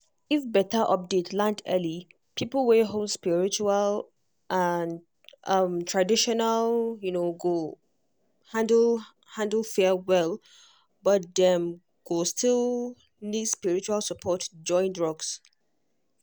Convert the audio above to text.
if better update land early people wey hold spiritual um tradition um go handle handle fear well but dem um go still need spiritual support join drugs